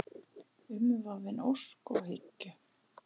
Umvafin ósk og hyggju.